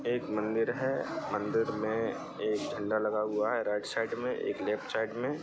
यह एक मंदिर है मंदिर में एक झंडा लगा हुआ है राइट साइड में एक लेफ्ट साइड में।